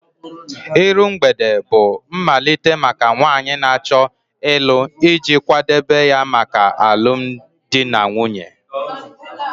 Iru mgbede bụ mmalite maka nwanyị na-achọ ịlụ iji kwadebe ya maka alụmdi na nwunye